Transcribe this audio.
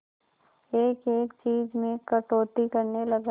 एक एक चीज में कटौती करने लगा